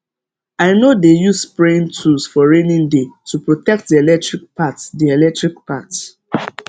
i no dey use spraying tools for raining day to protect the electric part the electric part